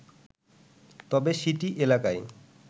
তবে সিটি এলাকায়